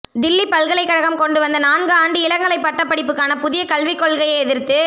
தில்லி பல்களை கழகம் கொண்டு வந்த நான்கு ஆண்டு இளங்கலை பட்ட படிப்புக்கான புதிய கல்வி கொள்கையை எதிர்த்து